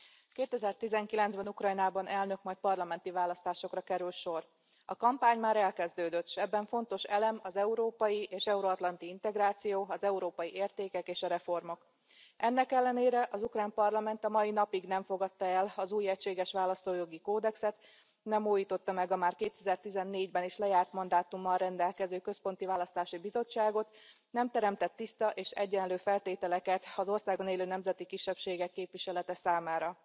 2019 ben Ukrajnában elnök majd parlamenti választásokra kerül sor. A kampány már elkezdődött, s ebben fontos elem az európai és euroatlanti integráció, az európai értékek és a reformok. Ennek ellenére az ukrán parlament a mai napig nem fogadta el az új egységes választójogi kódexet, nem újította meg a már 2014 ben is lejárt mandátummal rendelkező központi választási bizottságot, nem teremtett tiszta és egyenlő feltételeket az országban élő nemzeti kisebbségek képviselete számára.